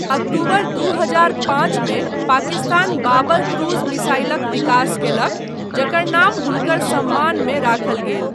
अक्टूबर दू हजार पाँचमे पाकिस्तान बाबर क्रूज मिसाइलक विकास कयलक, जकर नाम हुनकर सम्मानमे राखल गेल।